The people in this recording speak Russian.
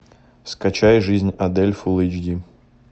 скачай жизнь адель фулл эйч ди